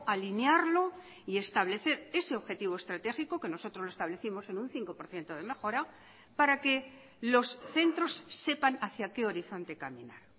alinearlo y establecer ese objetivo estratégico que nosotros lo establecimos en un cinco por ciento de mejora para que los centros sepan hacia qué horizonte caminar